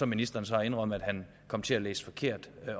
ministeren så har indrømmet at han kom til at læse forkert